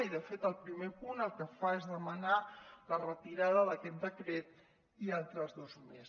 i de fet el primer punt el que fa és demanar la retirada d’aquest decret i altres dos més